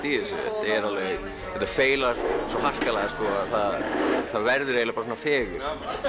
í þessu þetta feilar svo harkalega að það verður eiginlega fegurð